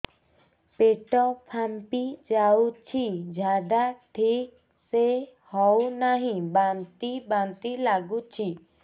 ପେଟ ଫାମ୍ପି ଯାଉଛି ଝାଡା ଠିକ ସେ ହଉନାହିଁ ବାନ୍ତି ବାନ୍ତି ଲଗୁଛି